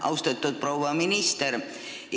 Austatud proua minister!